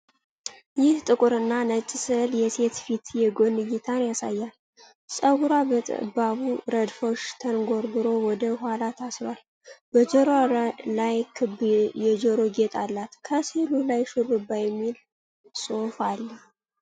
ይህ ጥቁርና ነጭ ሥዕል የሴት ፊት የጎን እይታን ያሳያል። ጸጉሯ በጠባብ ረድፎች ተጎንጉኖ ወደ ኋላ ታስሯል፤ በጆሮዋ ላይ ክብ የጆሮ ጌጥ አላት። ከሥዕሉ በላይ "ሽሩባ" የሚል ጽሑፍ አለ።